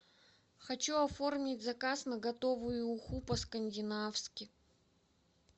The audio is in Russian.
хочу оформить заказ на готовую уху по скандинавски